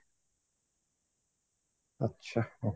ଆଚ୍ଛା okay